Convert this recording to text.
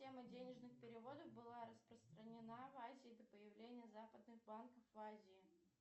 денежных переводов была распространена в азии до появлении западных банков в азии